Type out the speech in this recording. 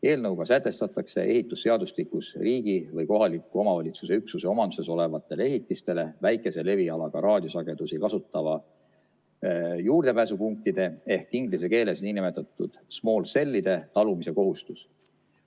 Eelnõuga sätestatakse ehitusseadustikus riigi või kohaliku omavalitsuse üksuse omanduses olevatele ehitistele väikese levialaga raadiosagedusi kasutavate juurdepääsupunktide ehk inglise keeles niinimetatud small cell'ide talumise kohustus.